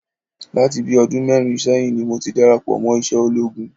Láti bíi ọdún mẹ́rin sẹ́yìn ni mo ti darapọ̀ mọ́ iṣẹ́ ológun